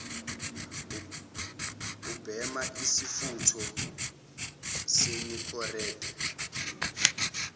ubhema isifutho senicorette